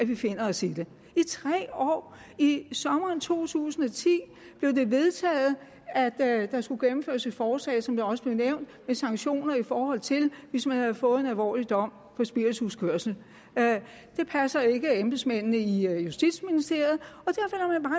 vi finder os i det i tre år i sommeren to tusind og ti blev det vedtaget at der skulle gennemføres et forslag som det også blev nævnt med sanktioner i forhold til hvis man havde fået en alvorlig dom for spirituskørsel det passer ikke embedsmændene i justitsministeriet